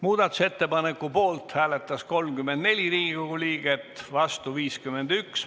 Muudatusettepaneku poolt hääletas 34 Riigikogu liiget, vastu 51.